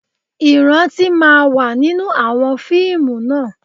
Ìrántí máa wà nínú àwọn fíìmù náà